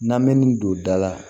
N'an me nin don da la